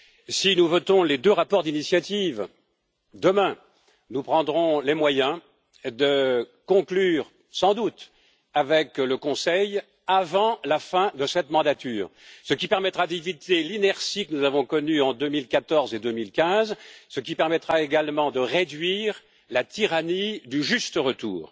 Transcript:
Si nous votons les deux rapports d'initiative demain, nous prendrons les moyens de conclure sans doute avec le Conseil avant la fin de cette législature, ce qui permettra d'éviter l'inertie que nous avons connue en 2014 et en 2015 et également de réduire la tyrannie du juste retour.